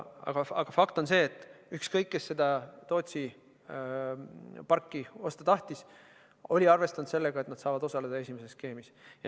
Aga fakt on see, et ükskõik, kes seda Tootsi parki osta tahtis, oli ta arvestanud sellega, et nad saavad osaleda esimeses skeemis.